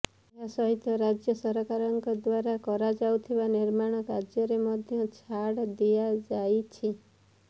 ଏହା ସହିତ ରାଜ୍ୟ ସରକାରଙ୍କ ଦ୍ବାରା କରାଯାଉଥିବା ନିର୍ମାଣ କାର୍ଯ୍ୟରେ ମଧ୍ୟ ଛାଡ୍ ଦିଆଯାଇଛି